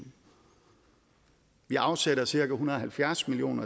vi afsætter cirka en hundrede og halvfjerds million